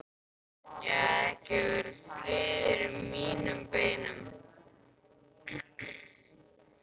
Ég hafði ekki frið í mínum beinum.